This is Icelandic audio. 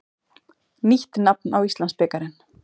Nýtt nafn á Íslandsbikarinn.